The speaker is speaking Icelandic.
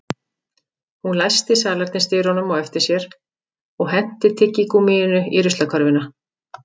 Hún læsti salernisdyrunum á eftir sér og henti tyggigúmmíinu í ruslakörfuna